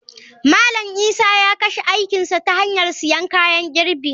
Malam Isa ya kashe aikin sa ta hanyar siyan kayan girbi.